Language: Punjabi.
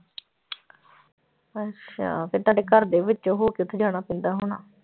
ਅੱਛਾ ਫਿਰ ਤੁਹਾਡੇ ਘਰ ਦੇ ਵਿੱਚੋਂ ਹੋ ਕੇ ਉੱਥੇ ਜਾਣਾ ਪੈਂਦਾ ਹੋਣਾ।